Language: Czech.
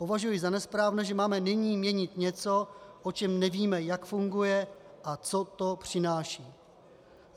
Považuji za nesprávné, že máme nyní měnit něco, o čem nevím, jak funguje a co to přináší.